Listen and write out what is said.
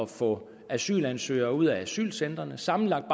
få asylansøgere ud af asylcentrene sammenlagt